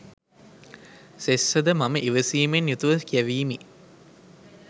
සෙස්ස ද මම ඉවසීමෙන් යුතු ව කියැවීමි.